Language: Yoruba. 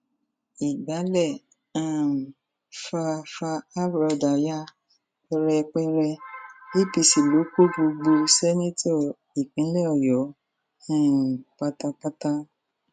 ìgbálẹ um fa fa abúdá ya pẹrẹpẹrẹ apc ló kó gbogbo ṣèǹtẹtò ìpínlẹ ọyọ um pátápátá